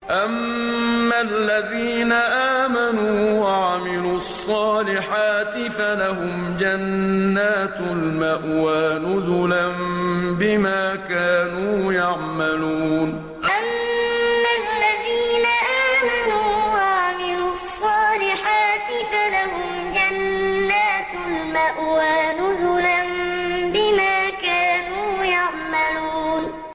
أَمَّا الَّذِينَ آمَنُوا وَعَمِلُوا الصَّالِحَاتِ فَلَهُمْ جَنَّاتُ الْمَأْوَىٰ نُزُلًا بِمَا كَانُوا يَعْمَلُونَ أَمَّا الَّذِينَ آمَنُوا وَعَمِلُوا الصَّالِحَاتِ فَلَهُمْ جَنَّاتُ الْمَأْوَىٰ نُزُلًا بِمَا كَانُوا يَعْمَلُونَ